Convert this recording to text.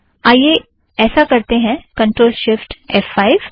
आइए ऐसा करते हैं कंट्रोल शिफ़्ट एफ़ फ़ाइव